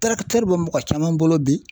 bɛ mɔgɔ caman bolo bi